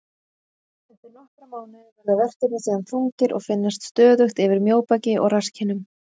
Eftir nokkra mánuði verða verkirnir síðan þungir og finnast stöðugt yfir mjóbaki og rasskinnum.